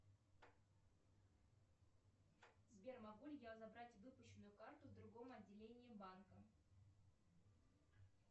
сбер могу ли я забрать выпущенную карту в другом отделении банка